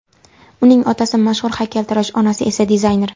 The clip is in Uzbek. Uning otasi mashhur haykaltarosh, onasi esa dizayner.